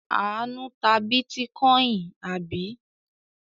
Àánú ta bítíkọ́ìn, àbí?